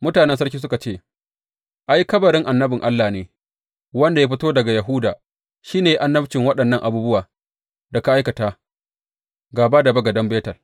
Mutanen birnin suka ce, Ai, kabarin annabin Allah ne wanda ya fito daga Yahuda, shi ne ya yi annabcin waɗannan abubuwan da ka aikata gāba da bagaden Betel.